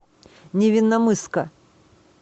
невинномысска